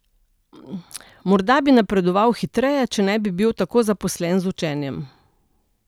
Morda bi napredoval hitreje, če ne bi bil tako zaposlen z učenjem.